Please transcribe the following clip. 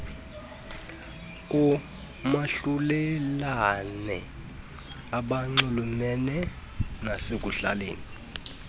omahlulelane abanxulumene nasekuhlaleni